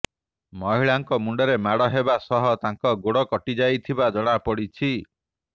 ମହିଳାଙ୍କ ମୁଣ୍ଡରେ ମାଡ ହେବା ସହ ତାଙ୍କ ଗୋଡ କଟିଯାଇଥିବା ଜଣାପଡିଛି